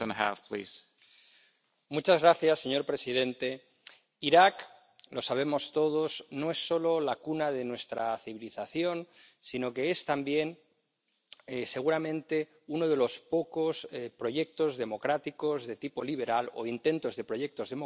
Señor presidente, Irak —lo sabemos todos— no es solo la cuna de nuestra civilización, sino que es también, seguramente, uno de los pocos proyectos democráticos de tipo liberal, o intentos de proyectos democráticos, en Oriente Medio.